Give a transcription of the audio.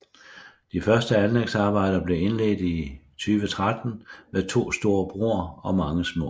De første anlægsarbejder blev indledt i 2013 med to store broer og mange små